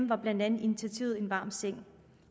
var blandt andet initiativet en varm seng